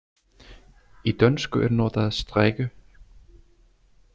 Í dönsku er notað strikke.